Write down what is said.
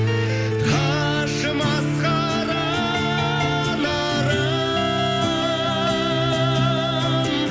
қажымас қара нарым